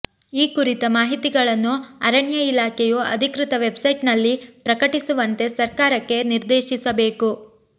ಈ ಕುರಿತ ಮಾಹಿತಿಗಳನ್ನು ಅರಣ್ಯ ಇಲಾಖೆಯು ಅಧಿಕೃತ ವೆಬ್ಸೈಟ್ನಲ್ಲಿ ಪ್ರಕಟಿಸುವಂತೆ ಸರ್ಕಾರಕ್ಕೆ ನಿರ್ದೇಶಿಸಬೇಕು